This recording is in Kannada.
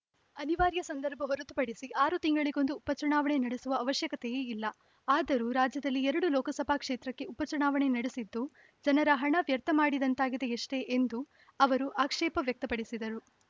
ಅನಿವಾರ್ಯ ಸಂದರ್ಭ ಹೊರತುಪಡಿಸಿ ಆರು ತಿಂಗಳಿಗೊಂದು ಉಪ ಚುನಾವಣೆ ನಡೆಸುವ ಅವಶ್ಯಕತೆಯೇ ಇಲ್ಲ ಆದರೂ ರಾಜ್ಯದಲ್ಲಿ ಎರಡು ಲೋಕಸಭಾ ಕ್ಷೇತ್ರಕ್ಕೆ ಉಪ ಚುನಾವಣೆ ನಡೆಸಿದ್ದು ಜನರ ಹಣ ವ್ಯರ್ಥ ಮಾಡಿದಂತಾಗಿದೆಯಷ್ಟೇ ಎಂದು ಅವರು ಆಕ್ಷೇಪ ವ್ಯಕ್ತಪಡಿಸಿದರು